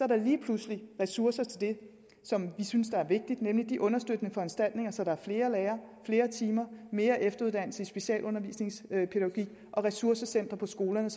der lige pludselig ressourcer til det som vi synes er vigtigt nemlig de understøttende foranstaltninger så der er flere lærere flere timer mere efteruddannelse i specialundervisningspædagogik og ressourcecentre på skolerne